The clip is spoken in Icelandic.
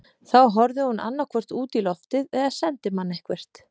Þá horfði hún annaðhvort út í loftið eða sendi mann eitthvert.